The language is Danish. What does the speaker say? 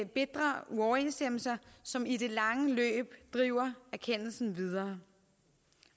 bitre uoverensstemmelser som i det lange løb driver erkendelsen videre